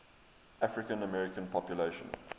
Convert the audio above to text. african american population